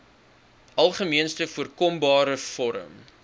algemeenste voorkombare vorm